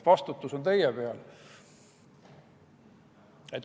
Vastutus on teie peal.